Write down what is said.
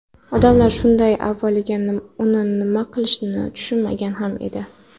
Odamlar avvaliga uni nima qilishni tushunmagan ham edi.